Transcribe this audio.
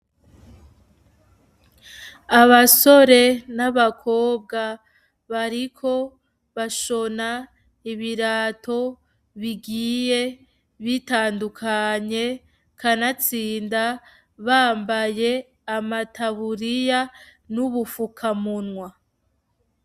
Abasore n'abakobwa bariko bashona ibirato bigiye bitandukanye kanatsinda bambaye amataburiya n'ubufukamunwa.